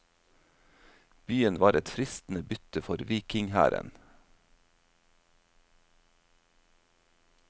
Byen var et fristende bytte for vikinghæren.